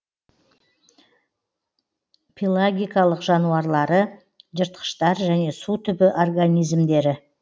пелагикалық жануарлары жыртқыштар және су түбі организмдері